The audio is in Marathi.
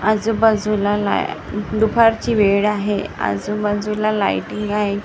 आजूबाजूला लाई दुपारची वेळ आहे आजूबाजूला लाइटिंग आहे.